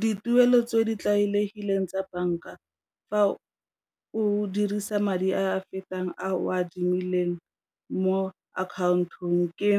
Dituelo tse di tlwaelegileng tsa banka fa o dirisa madi a fetang a o a adimileng mo akhaontong ke